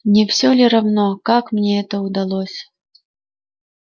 не всё ли равно как мне это удалось